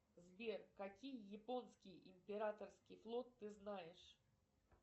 сбер какие японские императорский флот ты знаешь